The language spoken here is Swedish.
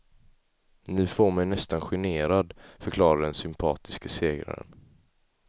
Ni får mig nästan generad, förklarade den sympatiske segraren.